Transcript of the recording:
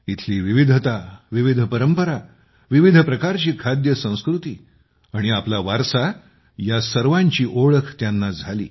इथली विविधता विविध परंपरा विविध प्रकारची खाणेपिणे आणि आपला वारसा या सर्वांची ओळख त्यांना झाली